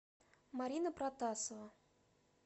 марина протасова